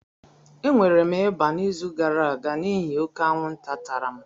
E nwere m ịba n'izu gara aga n'ihi oke anwụnta tara m.